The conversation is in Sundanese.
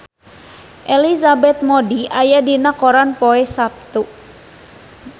Elizabeth Moody aya dina koran poe Saptu